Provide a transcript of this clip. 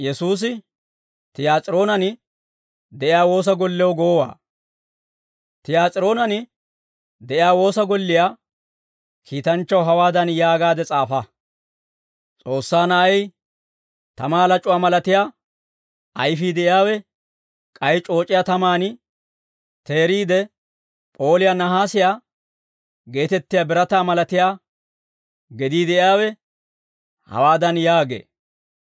Tiyaas'iroonen de'iyaa woosa golliyaa kiitanchchaw hawaadan yaagaade s'aafa: «S'oossaa Na'ay, tamaa lac'uwaa malatiyaa ayfii de'iyaawe, k'ay c'ooc'iyaa tamaan teeriide p'ooliyaa nahaasiyaa geetettiyaa birataa malatiyaa gedii de'iyaawe, hawaadan yaagee.